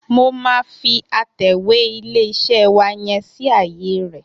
Mo máa fi atẹ̀wé ilé-iṣẹ́ wa yẹn sí ààye rẹ̀.